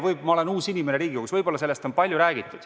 Ma olen uus inimene Riigikogus ega tea, võib-olla sellest on palju räägitud.